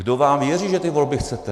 Kdo vám věří, že ty volby chcete?